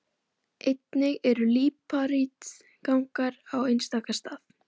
Einnig eru líparítgangar á einstaka stað.